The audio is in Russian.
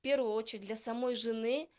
в первую очередь для самой жены